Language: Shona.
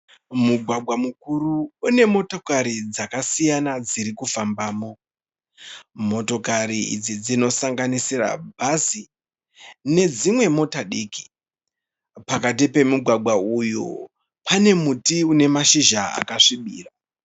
Mugwagwa mukuru une motokari dzakasiyana dzirikufambamo. Motokari idzi dzinosanganisira bhazi nedzimwe mota diki. Pakati pomugwagwa uyu pane muti une mashizha akasvibira.